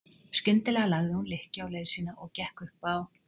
Skyndilega lagði hún lykkju á leið sína og gekk upp á